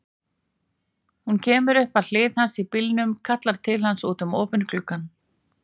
Hún kemur upp að hlið hans í bílnum, kallar til hans út um opinn gluggann.